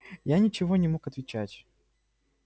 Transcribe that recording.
я ничего не мог отвечать